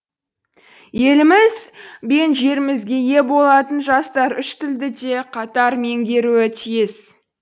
еліміз бен жерімізге ие болатын жастар үш тілді де қатар меңгеруі тиіс